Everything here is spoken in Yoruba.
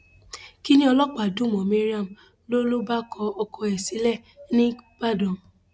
kinni ọlọpàá dùn mọ mariam ló ló bá kọ ọkọ ẹ sílẹ nígbàdàn